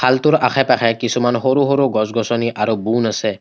খালটোৰ আশে-পাশে কিছুমান সৰু সৰু গছ-গছনি আৰু বুন আছে।